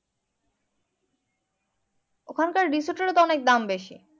ওখানকার resort এরও তো অনেক দাম বেশি